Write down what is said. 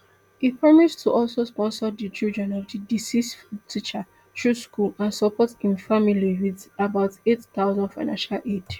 e promise to also sponsor di children of di deceased teacher through school and support im family wit about eight thousand financial aid